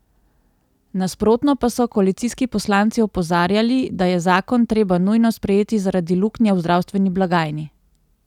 Nasprotno pa so koalicijski poslanci opozarjali, da je zakon treba nujno sprejeti zaradi luknje v zdravstveni blagajni.